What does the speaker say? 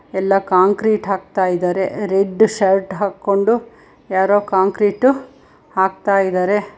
ಎಲ್ಲ ಕಾಂಕ್ರೀಟ್ ಹಾಕ್ತಾ ಇದ್ದಾರೆ ರೆಡ್ ಶರ್ಟ್ ಹಾಕೊಂಡು ಯಾರೋ ಕಾಂಕ್ರೀಟ್ ಹಾಕ್ತಾ ಇದಾರೆ.